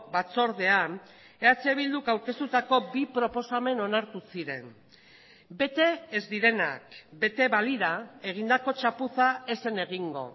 batzordean eh bilduk aurkeztutako bi proposamen onartu ziren bete ez direnak bete balira egindako txapuza ez zen egingo